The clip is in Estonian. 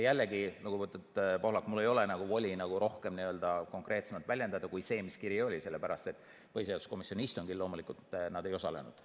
Jällegi, lugupeetud Pohlak, mul ei ole voli rohkem konkreetsemalt väljendada kui seda, mis nende kirjas oli, sellepärast et põhiseaduskomisjoni istungil nad loomulikult ei osalenud.